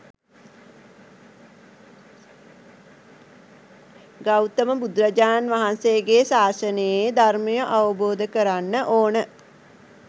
ගෞතම බුදුරජාණන් වහන්සේගේ ශාසනයේ ධර්මය අවබෝධ කරන්න ඕන